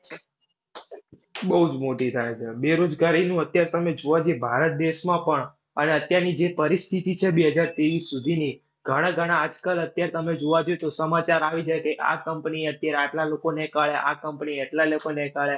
બૌજ મોટી થાય છે. બેરોજગારીનું અત્યારે તમે જોવા જઈએ ભારત દેશમાં પણ અને અત્યારની જે પરિસ્થિતિ છે બેહજાર ત્રેવીસ સુધીની ઘણાં ઘણાં આજકાલ અત્યાર તમે જોવા જાઉં તો સમાચાર આવી જાય કે આ company એ અત્યારે આટલા લોકોને કાઢ્યા, આ company એ એટલા લોકોને કાઢ્યા.